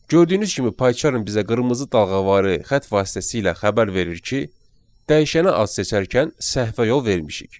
Gördüyünüz kimi Paycharm bizə qırmızı dalğavarı xətt vasitəsilə xəbər verir ki, dəyişənə ad seçərkən səhvə yol vermişik.